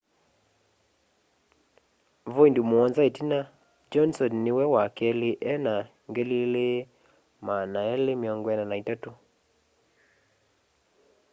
voindi muonza itina johnson niwe wa keli ena 2,243